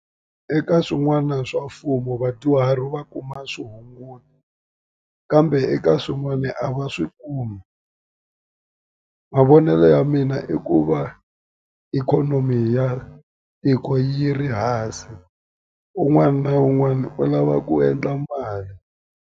Eka swin'wana swa mfumo vadyuhari va kuma swihunguto kambe eka swin'wani a va swi kumi mavonelo ya mina i ku va ikhonomi ya tiko yi ri hansi un'wana na un'wana u lava ku endla mali.